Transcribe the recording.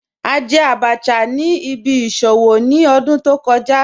A jẹ̀ àbàchà ni ìbí ìṣòwò ni ọ̀dún tó kọ̀ja